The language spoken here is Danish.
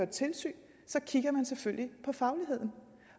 tilsyn kigger man selvfølgelig på fagligheden